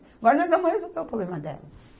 Agora nós vamos resolver o problema dela.